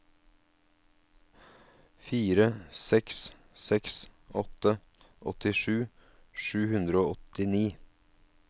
fire seks seks åtte åttisju sju hundre og åttini